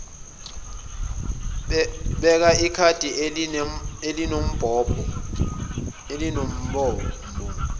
beka ikhadi elinembobo